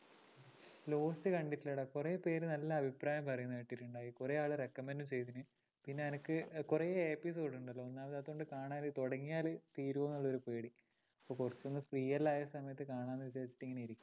lost കണ്ടിട്ടില്ലാടാ കുറേ പേര് നല്ല അഭിപ്രായംപറയുന്നത് കേട്ടിട്ടുണ്ട്. കുറേ ആള് recommend ഉം ചെയ്തു പിന്നെ എനിക്ക് കുറേ episode ഉണ്ടല്ലോ. അതുകൊണ്ട് കാണാൻ തുടങ്ങിയാൽ തീരുമോന്നുള്ളൊരു പേടി. അപ്പോ കുറച്ചൊന്നു free എല്ലാം ആയ സമയത്തു കാണാം എന്നു വിചാരിച്ചിരിക്കയാ